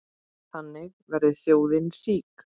Þannig verður þjóðin rík.